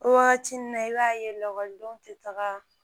O wagati nin na i b'a ye lakɔlidenw tɛ taga